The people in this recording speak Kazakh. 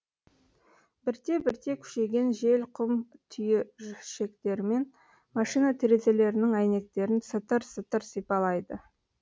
бірте бірте күшейген жел құм түйіршектерімен машина терезелерінің әйнектерін сытыр сытыр сипалайды